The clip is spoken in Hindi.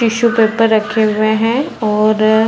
टिशू पेपर रखे हुए है और --